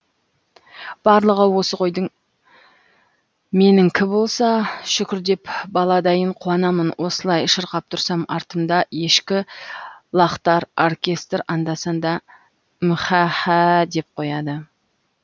барлығы осы қойдың меніңкі болса шүкір деп бала дайын қуанамын осылай шырқап тұрсам артымда ешкі лақтар оркестр анда санда мһәһһәәә деп қояды